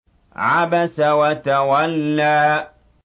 عَبَسَ وَتَوَلَّىٰ